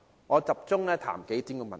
我集中談談數點問題。